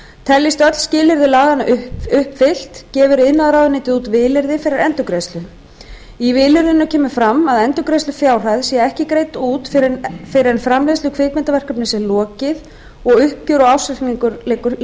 teljist öll skilyrði laganna uppfyllt gefur iðnaðarráðuneytið út vilyrði fyrir endurgreiðslu í vilyrðinu kemur fram að endurgreiðslufjárhæð sé ekki greidd út fyrr en framleiðslu kvikmyndaverkefnis er lokið og uppgjör og ársreikningur